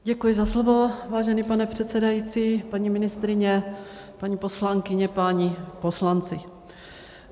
Děkuji za slovo, vážený pane předsedající, paní ministryně, paní poslankyně, páni poslanci.